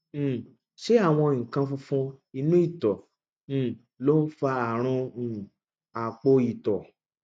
um ṣé àwọn nǹkan funfun inú ìtọ um ló ń fa àrùn um àpò ìtọ